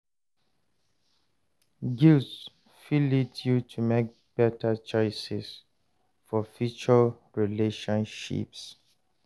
Guilt fit lead yu to mek beta choices for future relationships.